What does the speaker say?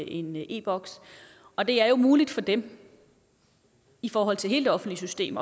en e boks og det er jo muligt for dem i forhold til hele det offentlige system